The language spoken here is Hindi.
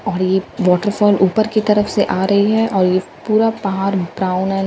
और यह वॉटरफॉल ऊपर की तरफ से आ रही है और यह पूरा पहाड़ ब्राउन एं --